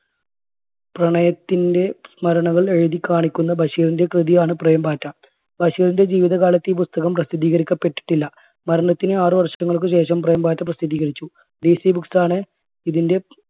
പ്രണയത്തിന്റെ സ്മരണകൾ എഴുതി കാണിക്കുന്ന ബഷീറിൻറെ കൃതിയാണ് പ്രേം പാറ്റ. ബഷീറിൻറെ ജീവിതകാലത്ത് ഈ പുസ്തകം പ്രസിദ്ധീകരിക്കപ്പെട്ടിട്ടില്ല മരണത്തിന് ആറ് വർഷങ്ങൾക്കുശേഷം പ്രേം പാറ്റ പ്രസിദ്ധീകരിച്ചു DC books ആണ് ഇതിൻറെ